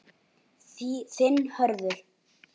Þinn Hörður.